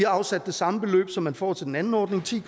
afsat det samme beløb som man får til den anden ordning ti